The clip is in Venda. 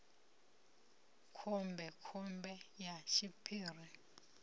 ya khombe khombe ya tshiphiri